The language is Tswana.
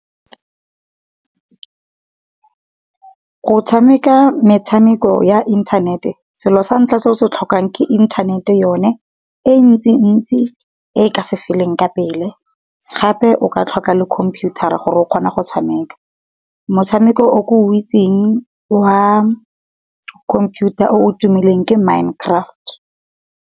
Go tshameka metshameko ya inthanete selo sa ntlha se o se tlhokang ke inthanete yone, e ntsi-ntsi e ka se feleng nka pele, gape o ka tlhoka le computer gore o kgone go tshameka. Motshameko o ke o itseng wa computer o tumileng ke Mindcraft.